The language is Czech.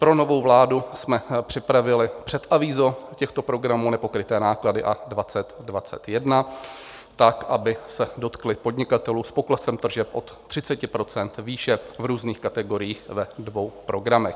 Pro novou vládu jsme připravili předavízo těchto programů Nepokryté náklady 2020, 2021 tak, aby se dotkly podnikatelů s poklesem tržeb od 30 % výše v různých kategoriích ve dvou programech.